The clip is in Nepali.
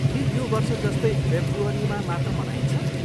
के यो वर्ष जस्तै फेब्रुअरीमा मात्र मनाइन्छ?